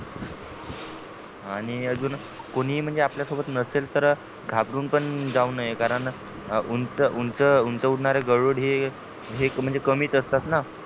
आणि अजून कोणीही म्हणजे आपल्या सोबत नसेल तर घाबरून पण जाऊ नये कारण उंच उंच उंच उडणारे गरुड हे म्हणजे कमीच असतात ना